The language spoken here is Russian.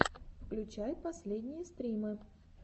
включай последние стримы